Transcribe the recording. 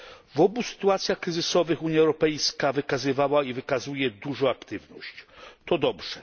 W obu sytuacjach kryzysowych Unia Europejska wykazywała i wykazuje dużą aktywność, to dobrze.